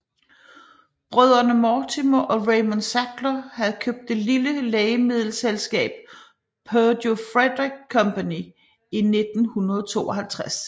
Brødrene Mortimer og Raymond Sackler havde købt det lille lægemiddelselskab Purdue Fredrick Company i 1952